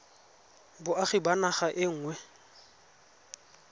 boagi ba naga e nngwe